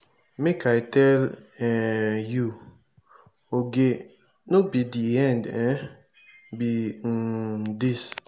make i tell um you oge no be the end um be um dis.